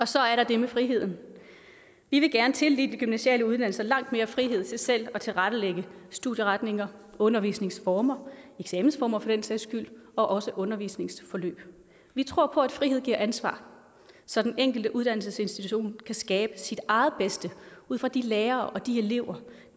så er der det med friheden vi vil gerne tildele de gymnasiale uddannelser langt mere frihed til selv at tilrettelægge studieretninger undervisningsformer eksamensformer for den sags skyld og også undervisningsforløb vi tror på at frihed giver ansvar så den enkelte uddannelsesinstitution kan skabe sit eget bedste ud fra de lærere og de elever